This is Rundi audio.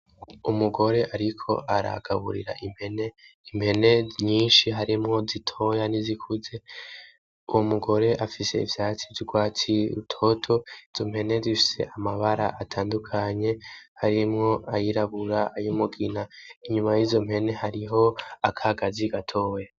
Umugore ariko aragaburira impene, impene nyinshi harimwo zitoya n'izikuze uwo mugore afise ivyatsi vy'urwatsi rutoto izo mpene zifise amabara atandukanye harimwo ayirabura ayumugina, inyuma yizo mpene hariho akagazi gatoya.